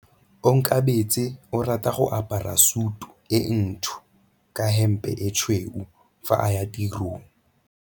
Onkabetse o rata go apara sutu e ntsho ka hempe e tshweu fa a ya tirong.